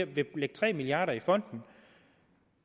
vil lægge tre milliard kroner i fonden